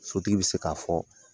Sotigi bɛ se k'a fɔ.